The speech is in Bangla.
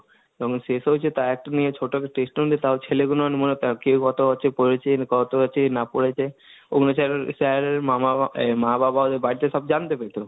এবং সেই সব হচ্ছে তা একটা নিয়ে test ও নিলে তাও ছেলেগুলো কেউ কথা হচ্ছে কত পড়েছে , না পরেছে ওগুলো Sir এর মা মা মা বাবা মা বাবাদের বাড়িতে সব জানতে পেতো।